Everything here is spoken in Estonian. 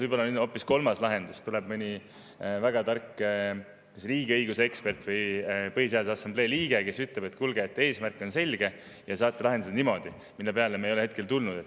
Võib-olla on hoopis kolmas lahendus – tuleb mõni väga tark kas riigiõiguse ekspert või Põhiseaduse Assamblee liige, kes ütleb, et kuulge, eesmärk on selge ja te saate seda lahendada niimoodi –, mille peale me ei ole hetkel tulnud.